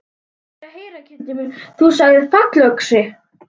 Hvað er að heyra, kindin mín, þú sagðir fallöxi.